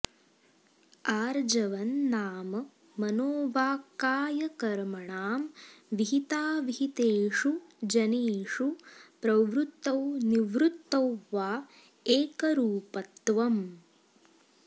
आर्जवं नाम मनोवाक्कायकर्मणां विहिताविहितेषु जनेषु प्रवृत्तौ निवृत्तौ वा एकरूपत्वम्